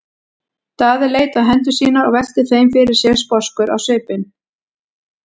Daði leit á hendur sínar og velti þeim fyrir sér sposkur á svipinn.